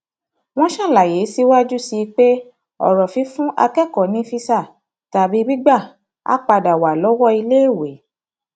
wọn ṣàlàyé síwájú sí i pé ọrọ fífún akẹkọọ ní físà tàbí gbígbà á padà wá lọwọ iléèwé